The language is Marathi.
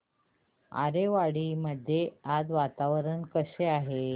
आरेवाडी मध्ये आज वातावरण कसे आहे